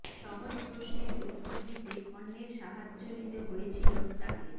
সহজ প্রশ্নের উত্তর দিতে অন্যের সাহায্য নিতে হয়েছিল তাঁকে